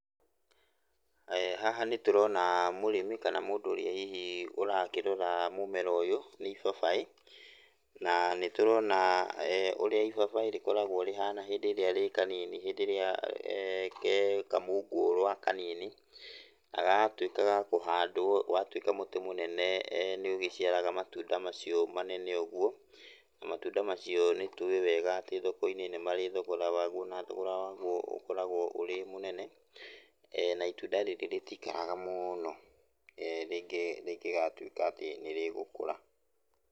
Haha nĩ tũrona mũrĩmi kana mũndũ ũrĩa hihi ũrakĩrora mũmera ũyũ, nĩ ibabaĩ. Na nĩ tũrona ũrĩa ibabaĩ rĩkoragwo rĩhana hĩndĩ ĩrĩa rĩ kanini, hĩndĩ ĩrĩa ge kamungũũrwa kanini, na gagatuĩka ga kũhandwo. Watuĩka mũtĩ mũnene, nĩ ũgĩciaraga matunda macio manene ũguo. Na matunda macio nĩ tũĩ wĩga atĩ thoko-inĩ nĩ marĩ thogora waguo, na thogora waguo ũkoragwo ũrĩ mũnene. Na itunda rĩrĩ rĩtiikaraga mũno, rĩngĩgatuĩka atĩ nĩ rĩgũkũra.